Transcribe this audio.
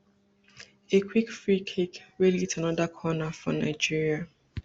a quick free kick wey lead to anoda corner for nigeria